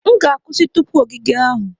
M ga-akwụsị tupu ogige ahụ.